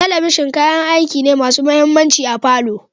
Talabishin kayan aiki ne masu mahimmanci a palour